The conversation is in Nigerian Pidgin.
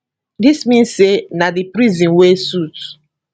dis mean say na di prison wey suit